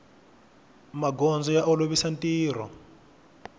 magondzo ya olovisa ntirho